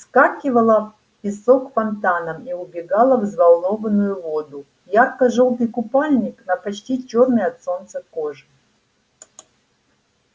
вскакивала песок фонтаном и убегала в взволнованную воду ярко-жёлтый купальник на почти чёрной от солнца коже